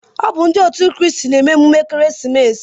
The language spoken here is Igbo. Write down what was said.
Ọ bu ndi òtù Christ n'eme emume Ekeresimesi